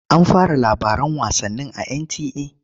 An fara labaran wasannin?